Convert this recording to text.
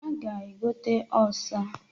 A ga-egota ọsha.